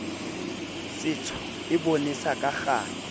setsho e bonesa ka kganya